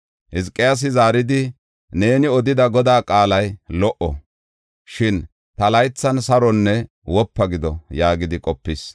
Hizqiyaasi zaaridi, “Neeni odida Godaa qaalay lo77o. Shin ta laythan saronne wopa gido” yaagidi qopis.